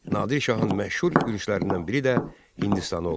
Nadir Şahın məşhur yürüşlərindən biri də Hindistana olmuşdu.